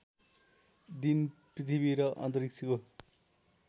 दिन पृथ्वी र अन्तरिक्षको